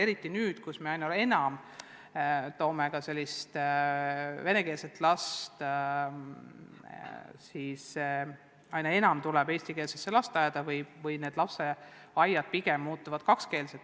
Eriti annab see tunda nüüd, kus aina enam venekeelseid lapsi läheb eestikeelsesse lasteaeda või pigem muutuvad lasteaiad kakskeelseks.